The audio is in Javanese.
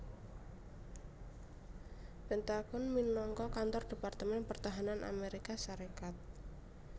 Pentagon minangka kantor Departemen Pertahanan Amérika Sarékat